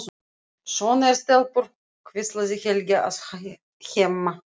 Svona eru stelpur, hvíslar Helgi að Hemma.